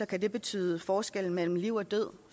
kan det betyde forskellen mellem liv og død